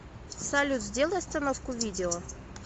салют сделай остановку видео